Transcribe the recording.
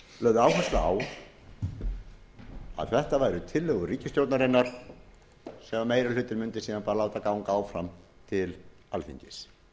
lögð áhersla á að þetta væru tillögur ríkisstjórnarinnar sem meiri hlutinn mundi síðan bara láta ganga áfram til alþingis